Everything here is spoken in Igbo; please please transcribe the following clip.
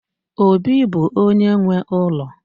Obi bụ onye nwe ụlọ